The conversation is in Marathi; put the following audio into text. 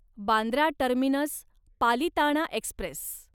Bandra terminus Palitana Express